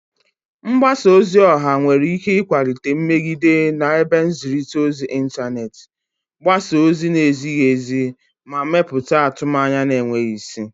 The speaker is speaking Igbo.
Mgbasa ozi ọha nwere ike ịkwalite nmegide na ebe nzirita ozi intaneti, gbasaa ozi na-ezighi ezi, ma mepụta atụmanya na-enweghị isi.